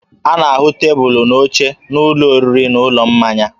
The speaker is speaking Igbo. A na-ahụ tebụlụ na oche n'ụlọ oriri na ụlọ mmanya